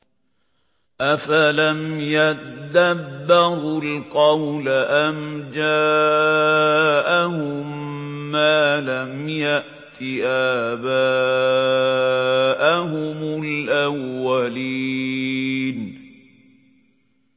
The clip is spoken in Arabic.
أَفَلَمْ يَدَّبَّرُوا الْقَوْلَ أَمْ جَاءَهُم مَّا لَمْ يَأْتِ آبَاءَهُمُ الْأَوَّلِينَ